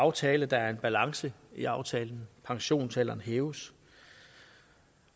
aftale der er en balance i aftalen pensionsalderen hæves